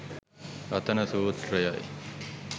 රතන සුත්‍රය යි.